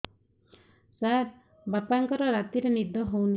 ସାର ବାପାଙ୍କର ରାତିରେ ନିଦ ହଉନି